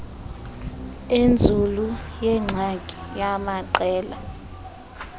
enzulu yengxaki yamaqela